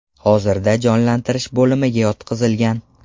Hozirda jonlantirish bo‘limiga yotqizilgan.